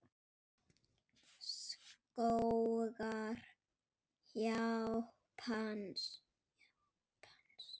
Skógar Japans